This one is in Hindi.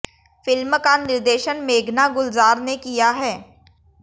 फिल्म का निर्देशन मेघना गुलजार ने किया है